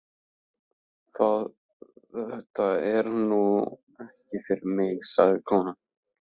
Þetta er nú ekki fyrir mig, sagði konan.